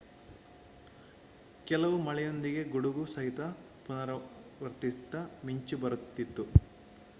ಕೆಲವು ಮಳೆಯೊಂದಿಗೆ ಗುಡುಗು ಸಹಿತ ಪುನರ್ವರ್ತಿತ ಮಿಂಚು ಬರುತ್ತಿತ್ತು